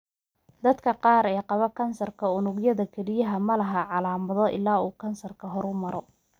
Dadka qaar ee qaba kansarka unugyada kelyaha ma laha calaamado ilaa uu kansarku horumaro.